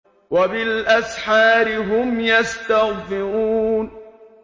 وَبِالْأَسْحَارِ هُمْ يَسْتَغْفِرُونَ